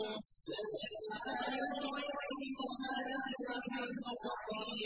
ذَٰلِكَ عَالِمُ الْغَيْبِ وَالشَّهَادَةِ الْعَزِيزُ الرَّحِيمُ